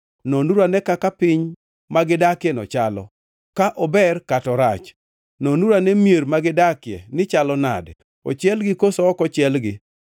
Nonuru ane kaka piny ma gidakieno chalo, ka ober kata orach? Nonuru ane mier ma gidakie nichalo nade, ochielgi koso ok ochielgi?